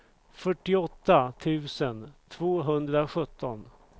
fyrtioåtta tusen tvåhundrasjutton